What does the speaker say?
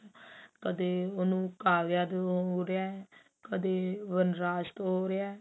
ਕਦੇ ਉਹਨੂੰ ਕਾਗਜਾਤ ਤੋਂ ਹੋ ਰਿਹਾ ਕਦੇ ਵਨਰਾਜ ਤੋਂ ਰਿਹਾ